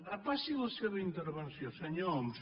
repassi la seva intervenció senyor homs